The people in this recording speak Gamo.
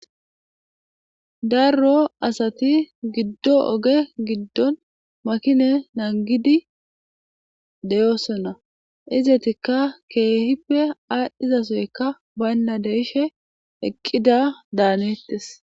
Darroo asathi giddo oge giddon makinee nanggidi de7oosona; izethikka keehipe aadhdhgizasoykka baynna de7ishe eqqida daaneththes.